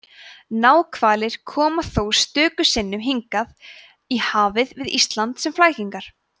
náhvalir koma þó stöku sinnum hingað í hafið við ísland sem flækingar